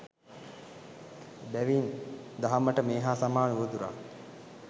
එබැවින් දහමට මේ හා සමාන උවදුරක්